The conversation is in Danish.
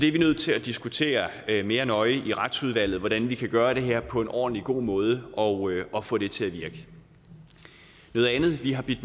er nødt til at diskutere mere nøje i retsudvalget hvordan vi kan gøre det her på en ordentlig og god måde og og få det til at virke noget andet vi har bidt